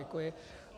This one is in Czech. Děkuji.